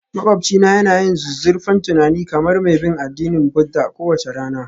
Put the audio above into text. Maƙwabcina yana yin zuzzurfan tunani kamar mai bin addinin Buddha kowace rana